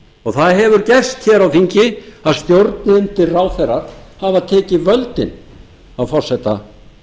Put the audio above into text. hlutann það hefur gerst hér á þingi að stjórnbundnir ráðherrar hafa tekið völdin af forseta